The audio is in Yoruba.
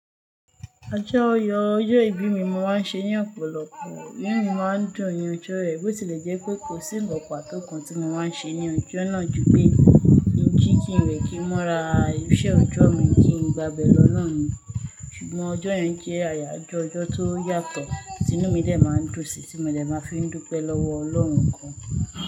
Ọjọ́ Oyo, ọjọ́ ìbí mi mo máa ń ṣe ní ọ̀pọ̀lọpọ̀, nínú mi máa ń dùn ni ọjọ́ yẹ̀ bó tilẹ̀ jẹ́ pé kò sí ǹkan pàtó kan tí mo máa ń ṣe ní ọjọ́ náà ju pé kí jín kí wẹ̀ kì mọ́ra ibiṣẹ́ ọjọ́ mi kí n gbàbè lọ lọ́hùn-ún. Ṣùgbọ́n ọjọ́ yẹn jẹ́ àyàjọ́ ọjọ́ tó yàtọ̀, tinu mí lè máa ń dùnsí tí mo lè máa fi ń dúpẹ́ lọ́wọ́ Ọlọ́run kan.